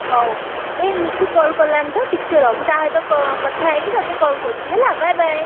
ହଉ ଏ ନିତୁ call କଲାଣି ତ ଟିକେ ରହ| ମୁଁ ତା ସହିତ କ କଥା ହେଇକି ତତେ call କରୁଚି ହେଲା bye bye ।